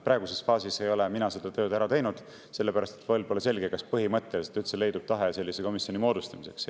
Praeguses faasis ei ole mina seda tööd ära teinud, sellepärast et pole selge, kas üldse leidub tahe sellise komisjoni moodustamiseks.